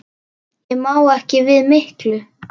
Ég má ekki við miklu.